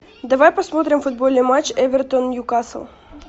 давай посмотрим футбольный матч эвертон ньюкасл